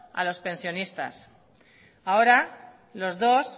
a los pensionistas ahora los dos